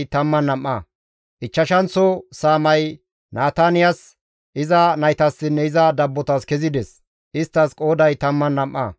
Ichchashanththo saamay Nataniyas, iza naytassinne iza dabbotas kezides; isttas qooday 12.